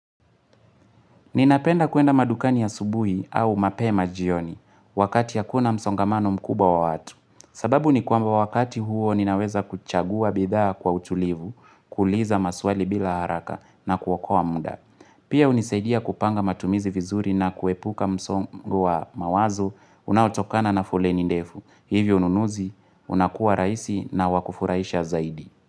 Ninapenda kwenda madukani asubuhi au mapema jioni wakati hakuna msongamano mkubwa wa watu. Sababu ni kwamba wakati huo ninaweza kuchagua bidhaa kwa utulivu, kuuliza maswali bila haraka na kuokoa muda. Pia hunisaidia kupanga matumizi vizuri na kuepuka msongo wa mawazo, unaotokana na foleni ndefu. Hivyo ununuzi, unakuwa rahisi na wa kufurahisha zaidi.